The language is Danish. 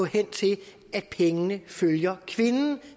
hen til at pengene følger kvinden